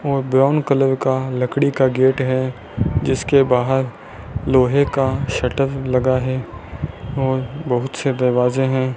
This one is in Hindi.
और ब्राउन कलर का लकड़ी का गेट है जिसके बाहर लोहे का शटर लगा है और बहुत से दरवाजे है।